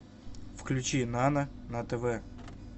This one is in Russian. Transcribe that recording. включи нано на тв